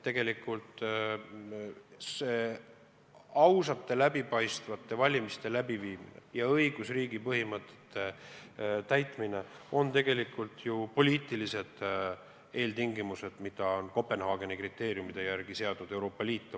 Aga ausate, läbipaistvate valimiste läbiviimine ja õigusriigi põhimõtete täitmine on poliitilised eeltingimused, mis Euroopa Liit on Kopenhaageni kriteeriume järgides oma laienemisele seadnud.